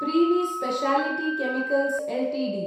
Privi speciality chemicals Ltd